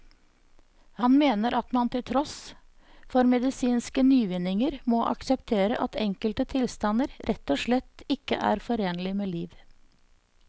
Han mener at man til tross for medisinske nyvinninger må akseptere at enkelte tilstander rett og slett ikke er forenlig med liv.